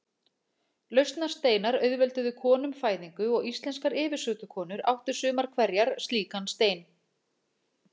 Lausnarsteinar auðvelduðu konum fæðingu og íslenskar yfirsetukonur áttu sumar hverjar slíkan stein.